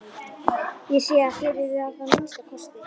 Ég sé að þér eruð það að minnsta kosti.